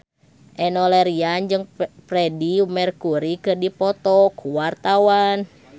Enno Lerian jeung Freedie Mercury keur dipoto ku wartawan